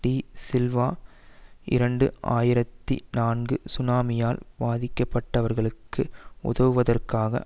D Silva இரண்டு ஆயிரத்தி நான்கு சுனாமியால் பாதிக்க பட்டவர்களுக்கு உதவுவதற்காக